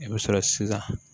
I bɛ sɔrɔ sisan